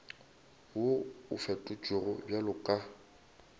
wo o fetotšwego bjalo ka